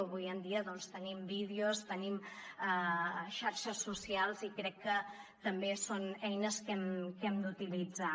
avui en dia tenim vídeos tenim xarxes socials i crec que també són eines que hem d’utilitzar